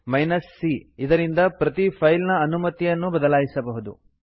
c ಇದರಿಂದ ಪ್ರತಿ file ನ ಅನುಮತಿಯನ್ನು ಬದಲಾಯಿಸಬಹುದು